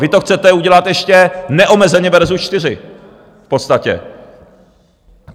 Vy to chcete udělat ještě neomezeně versus čtyři v podstatě.